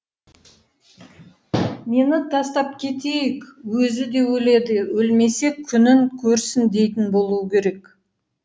мені тастап кетейік өзі де өледі өлмесе күнін көрсін дейтін болуы керек